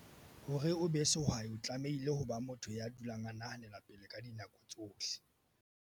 Hore o be sehwai o tlamehile ho ba motho ya dulang a nahanela pele ka nako tsohle.